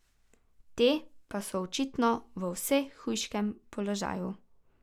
Te pa so očitno v vse hujšem položaju.